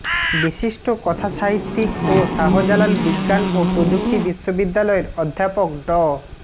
বিশিষ্ট কথাসাহিত্যিক ও শাহজালাল বিজ্ঞান ও প্রযুক্তি বিশ্ববিদ্যালয়ের অধ্যাপক ড